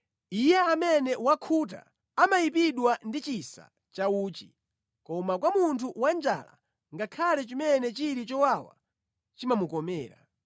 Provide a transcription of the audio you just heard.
Iye amene wakhuta amayipidwa ndi chisa cha uchi, koma kwa munthu wanjala ngakhale chimene chili chowawa chimamukomera.